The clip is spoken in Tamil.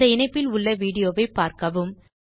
இந்தச் இணைப்பில் உள்ள வீடியோவைப் பார்க்கவும்